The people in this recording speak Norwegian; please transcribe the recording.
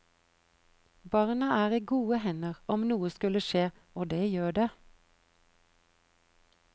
Barna er i gode hender om noe skulle skje, og det gjør det.